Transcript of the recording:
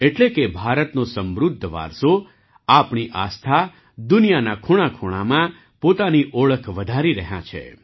એટલે કે ભારતનો સમૃદ્ધ વારસો આપણી આસ્થા દુનિયાના ખૂણાખૂણામાં પોતાની ઓળખ વધારી રહ્યાં છે